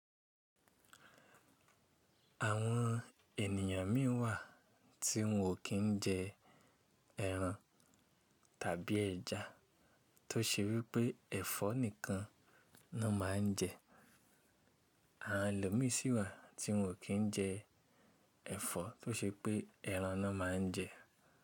Àwọn ènìyàn mìíràn wà tí wọn ò kí ń jẹ ẹran tàbí ẹja tó ṣe wípé ẹ̀fọ́ nìkan ni wọ́n má ń jẹ, àwọn ẹlomi sì wà tí wọn ò kí ń jẹ ẹ̀fọ́ tó ṣe pé ẹran ni wọ́n má ń jẹ.